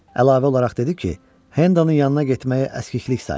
Əlavə olaraq dedi ki, Hendonun yanına getməyi əskiklik sayır.